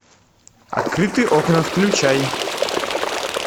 открытые окна включай